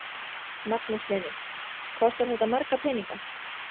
Magnús Hlynur: Kostar þetta marga peninga?